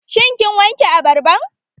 Shin kin wanke abarban?